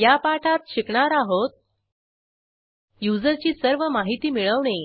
या पाठात शिकणार आहोत युजरची सर्व माहिती मिळवणे